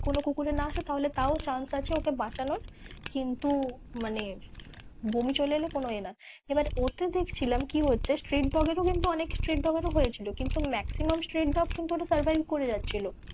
কোনো কুকুরের না আসে তাহলে তাও chance আছে ওকে বাঁচানোর কিন্তু মানে, বমি চলে এলে কোনো এ না এবার ওতে দেখছিলাম কি হচ্ছে street dog এরও কিন্তু অনেক street dog এর ও হয়েছিল কিন্তু maximum street dog কিন্তু ওটা survive করে যাচ্ছিলো।